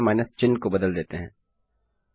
हम यहाँ केवल माइनस चिह्न को बदल देते हैं